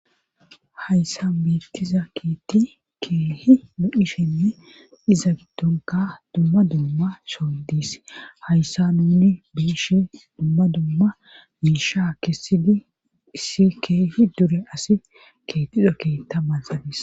Hayssa beettiza keetti keehi lo7ishenne iza gidonka dumma dumma soldis hayssa nuni biishe dumma dumma miisha keessidi issi keehi dure asi keetiza keeta banxabis